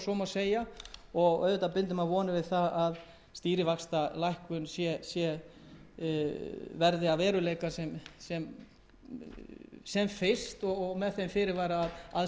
segja og maður bindur vonir við það að stýrivaxtalækkun verði að veruleika sem fyrst með þeim fyrirvara að aðstæðurnar þurfa auðvitað að